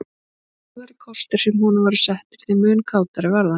Því harðari kostir sem honum voru settir þeim mun kátari varð hann.